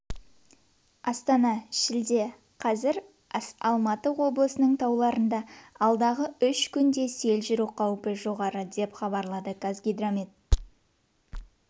астана шілде қаз алматы облысының тауларында алдағы үш күнде сел жүру қаупі жоғары деп хабарлады қазгидромет